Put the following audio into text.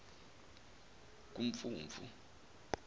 kumfumfu